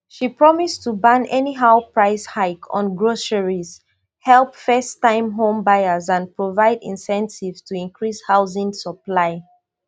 she promise to ban anyhow price hike on groceries help firsttime home buyers and provide incentives to increase housing supply